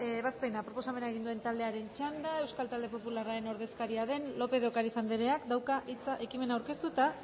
ebazpena proposamena egin duen taldearen txanda euskal talde popularraren ordezkaria den lópez de ocariz andereak dauka hitza entzumen aurkeztu eta